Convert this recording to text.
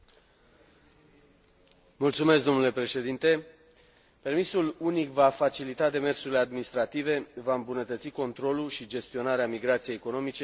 Permisul unic va facilita demersurile administrative, va îmbunătăți controlul și gestionarea migrației economice și schimbul de date referitoare la cererea pe piața muncii.